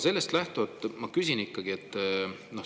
Sellest lähtuvalt ma küsingi.